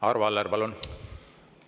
Arvo Aller, palun!